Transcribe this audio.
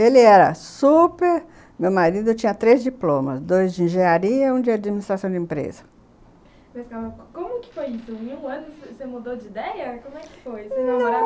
Ele era super... Meu marido tinha três diplomas, dois de engenharia e um de administração de empresa. Mas como que foi isso? em um ano você mudou de ideia? Como é que foi? vocês namoravam? Não...